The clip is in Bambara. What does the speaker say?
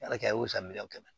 Ala kɛ y'o san miliyɔn kɛmɛ